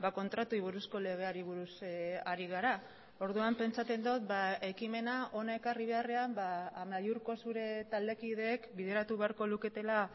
kontratuei buruzko legeari buruz ari gara orduan pentsatzen dut ekimena hona ekarri beharrean amaiurko zure taldekideek bideratu beharko luketela